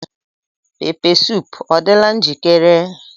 Pepeesoop adịla njikere?